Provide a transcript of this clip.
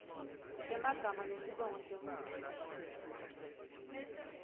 temagama nesibongo semuntfu